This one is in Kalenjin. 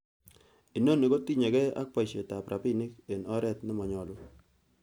Inoni kotinye gee ak boisietab rabinik en oret nemanyolu.